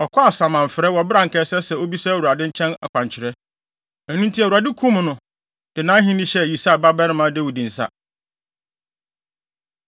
wɔ bere a anka ɛsɛ sɛ obisa Awurade nkyɛn akwankyerɛ. Ɛno nti, Awurade kum no, de nʼahenni hyɛɛ Yisai babarima Dawid nsa.